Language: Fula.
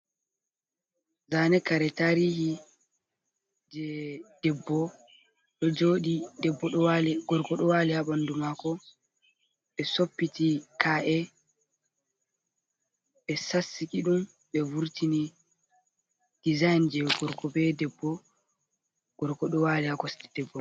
Zaane kare tarihi je debbo ɗo jooɗi, debbo ɗo wali gorko ɗo wali ha ɓandu maako, ɓe soppiti ka’e ɓe sassiki ɗum ɓe vurtini dizayin je gorko be debbo, gorko ɗo waali ha kosɗe debbo.